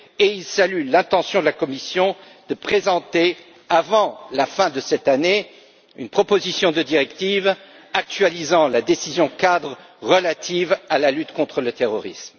Il salue l'intention de la Commission de présenter, avant la fin de cette année, une proposition de directive actualisant la décision cadre relative à la lutte contre le terrorisme.